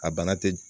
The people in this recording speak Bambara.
A bana te